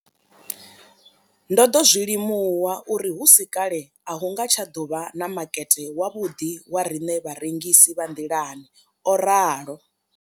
Ndo ḓo zwi limuwa uri hu si kale a hu nga tsha ḓo vha na makete wavhuḓi wa riṋe vharengisi vha nḓilani, o ralo.